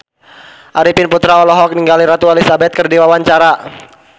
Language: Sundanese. Arifin Putra olohok ningali Ratu Elizabeth keur diwawancara